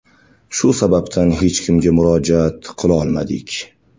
Shu sababdan hech kimga murojaat qilolmadik.